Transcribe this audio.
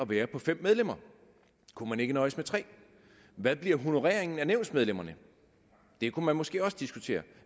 være på fem medlemmer kunne man ikke nøjes med 3 hvad bliver honoreringen af nævnsmedlemmerne det kunne man måske også diskutere